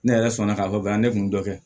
Ne yɛrɛ sɔnna k'a fɔ ne kun dɔ kɛ